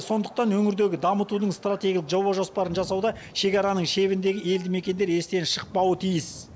сондықтан өңірдегі дамытудың стратегиялық жоба жоспарын жасауда шекараның шебіндегі елді мекендер естен шықпауы тиіс